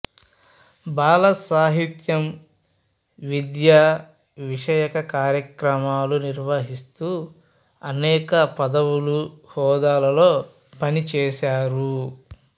బాలసాహిత్యం విద్యా విషయక కార్యక్రమాలు నిర్వహిస్తూ అనేక పదవులు హోదాలలో పనిచేశారు